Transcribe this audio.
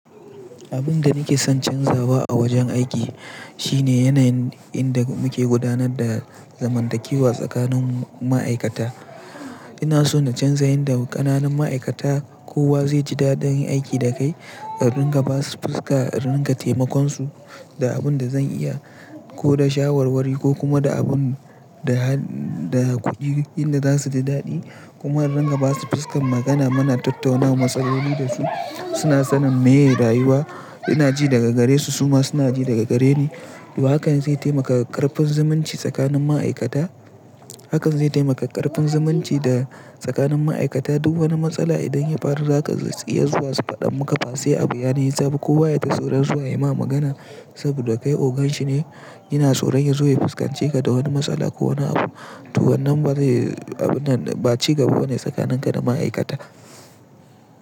Abin da nake son canzawa a wajen aiki shine yanayin inda muke gudanar da zamantakewa tsakanin ma'aikata. Ina so na canza yadda ƙananun ma'aikata kowa zai ji daɗin aiki da kai, a rinƙa ba su fuska, a rinƙa taimakon su da abin da zan iya ko da shawarwari ko kuma da abin da, da kuɗi inda za su ji daɗi. Kuma in riƙa ba su fuskar magana muna tattaunawa matsaloli da su, suna sanin me ye rayuwa. Ina ji daga gare su, su ma suna ji daga gare ni. To hakan zai taimaka ƙarfin zumunci tsakanin ma'aikata. Hakan zai taimaka ƙarfin zumunci da tsakanin ma'aikata duk wani matsala idan ya faru zaka iya zuwa su faɗan muƙa base abu, ya nisaba kowa yata tsoron zuwa ya ma magana saboda kai ogan shi ne. Ina tsoron ya zo ya fuskance ka da wani matsala ko wani abu. To wannan ba zai, abunnan ba ci gaba bane tsakanin ka da ma'aikata.